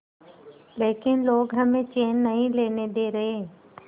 लेकिन लोग हमें चैन नहीं लेने दे रहे